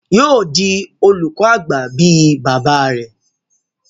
Yóò di olùkọ àgbà bí i bàbá rẹ̀.